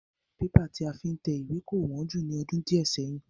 Bébà tí a fi ń tẹ ìwé kò wón jù ní ọdún diẹ séyìn.